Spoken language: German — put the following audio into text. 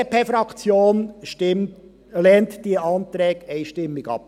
Die BDP-Fraktion lehnt diese Anträge einstimmig ab.